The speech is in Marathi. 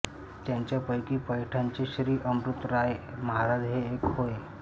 त्यांच्यापैकी पैठणचे श्री अमृतराय महाराज हे एक होय